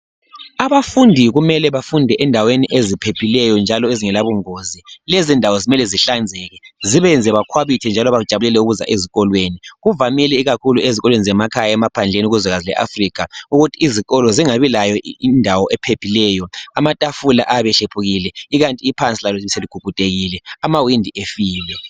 Abafundi kumele bafunde endaweni eziphephileyo njalo ezingela bungozi lezindawo kumele zihlanzeke zibenze bakhwabithe njalo bejabulele ukuza ezikolweni kuvamile ikakhulu ezikolweni zemakhaya emaphandleni kuzwe leAfrica ukuthi iziko lo zingabi lendawo ephephileyo amatafula ayabe ehlephukile ikanti iphansi seligugudekile amawindi efile